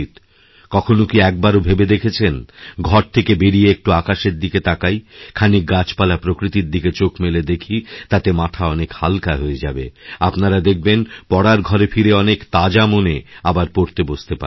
কখনও কি একবারও ভেবে দেখেছেন ঘর থেকে বেরিয়ে একটু আকাশেরদিকে তাকাই খানিক গাছপালা প্রকৃতির দিকে চোখ মেলে দেখি তাতে মাথা অনেক হাল্কাহয়ে যাবে আপনারা দেখবেন পড়ার ঘরে ফিরে অনেক তাজা মনে আবার পড়তে বসতে পারবেন